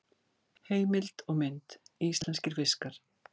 Heimild og mynd: Íslenskir fiskar.